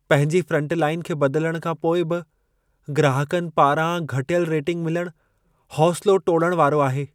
पंहिंजी फ्रंटलाइन खे बदिलण खां पोइ बि ग्राहकनि पारां घटियल रेटिंग मिलणु, हौसिलो टोड़ण वारो आहे।